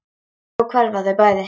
Og svo hverfa þau bæði.